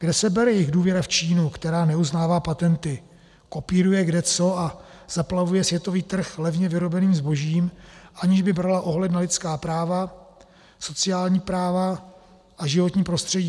Kde se bere jejich důvěra v Čínu, která neuznává patenty, kopíruje kdeco a zaplavuje světový trh levně vyrobeným zbožím, aniž by brala ohled na lidská práva, sociální práva a životní prostředí?